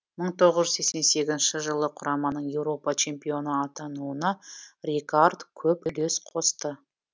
мың тоғыз жүз сексен сегізінші жылы құраманың еуропа чемпионы атануына рэйкаард көп үлес қосты